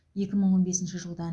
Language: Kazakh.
екі мың он бесінші жылдан